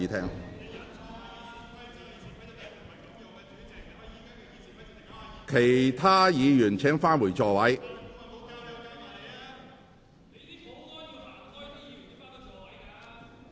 請其他議員返回座位。